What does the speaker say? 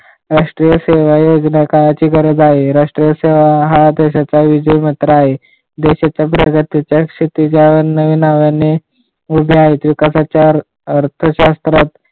राष्ट्रीय सेवा योजना काळाची गरज आहे. राष्ट्रीय सेवा हा देशाचा विजय मंत्र आहे. देशाचा प्रगतीचा क्षितिजावर नविणाव्याने उभे आहे विकासाच्या अर्थशास्त्रात